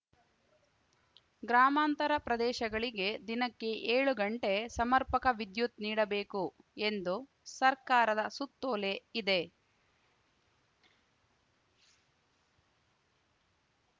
ಗ್ರಾಮಾಂತರ ಪ್ರದೇಶಗಳಿಗೆ ದಿನಕ್ಕೆ ಏಳು ಗಂಟೆ ಸಮರ್ಪಕ ವಿದ್ಯುತ್‌ ನೀಡಬೇಕು ಎಂದು ಸರ್ಕಾರದ ಸುತ್ತೋಲೆ ಇದೆ